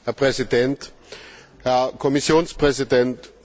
Herr Präsident, Herr Kommissionspräsident!